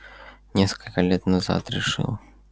несколько лет назад решил